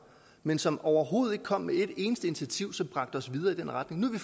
men som overhovedet ikke kom med et eneste initiativ som bragte os videre i den retning nu